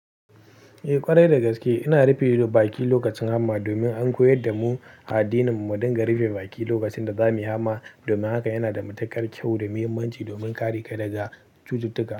Eh ƙwarai da gaske, ina rufe baki lokacin hama domin an koyar da mu addininmu, mu dinga rufe baki lokacin da za mu yi hama. Domin haka yana da matuƙar kyau da muhimmanci domin kare ka daga cututtuka.